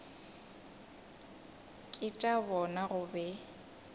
ke tša bona go be